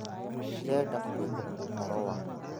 Ndirenda kũigua ũhoro waku